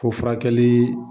Fo furakɛli